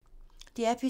DR P2